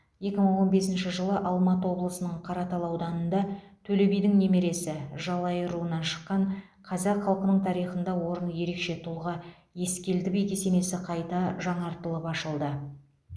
екі мың он бесінші жылы алматы облысының қаратал ауданында төле бидің немересі жалайыр руынан шыққан қазақ халқының тарихында орны ерекше тұлға ескелді би кесенесі қайта жаңартылып ашылды